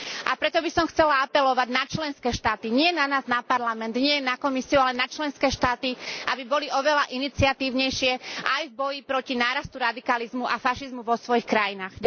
A preto by som chcela apelovať na členské štáty, nie na nás, na Parlament, nie na Komisiu, ale na členské štáty, aby boli oveľa iniciatívnejšie aj v boji proti nárastu radikalizmu a fašizmu vo svojich krajinách.